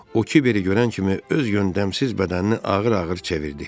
O Kiberi görən kimi öz yöndəmsiz bədənini ağır-ağır çevirdi.